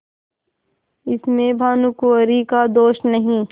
इसमें भानुकुँवरि का दोष नहीं